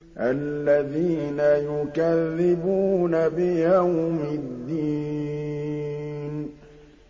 الَّذِينَ يُكَذِّبُونَ بِيَوْمِ الدِّينِ